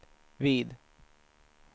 vid